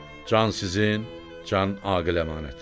Can sizin, can Aqil əmanət.